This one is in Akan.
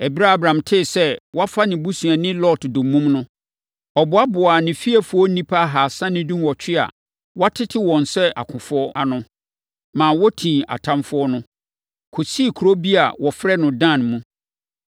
Ɛberɛ a Abram tee sɛ wɔafa ne busuani Lot dommum no, ɔboaboaa ne fiefoɔ nnipa ahasa ne dunwɔtwe a wɔatete wɔn sɛ akofoɔ ano, ma wɔtii atamfoɔ no, kɔsii kuro bi a wɔfrɛ no Dan mu.